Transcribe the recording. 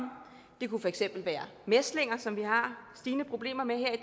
det kunne for eksempel være mæslinger som vi har stigende problemer med her i